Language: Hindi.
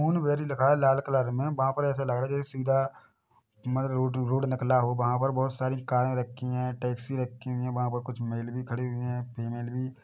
मून बेरी लिखा है लाल कलर में वहाँ पे ऐसे लग रहा है जैसे सीधा म रोड -रोड निकला हो वहाँ पर बहुत सारी कारें रखी है टैक्सी रखी हुई है वहाँ पर कुछ मेल भी खड़े हुए है फीमैल भी --